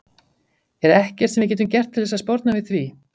Er ekkert sem við getum gert til þess að sporna við því?